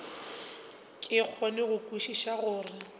ke kgone go kwešiša gore